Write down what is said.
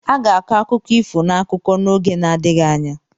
A ga-akọ akụkọ ifo n'akụkọ n'oge na-adịghị anya.